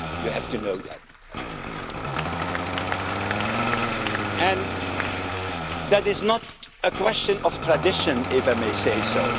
You have to know that. That is not a question of tradition, if I may say